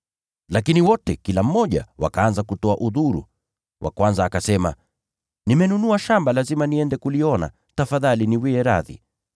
“Lakini wote, kila mmoja, wakaanza kutoa udhuru: Wa kwanza akasema, ‘Nimenunua shamba, lazima niende kuliona. Tafadhali niwie radhi.’